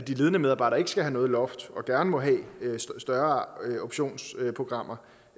ledende medarbejdere ikke skal have noget loft og gerne må have større optionsprogrammer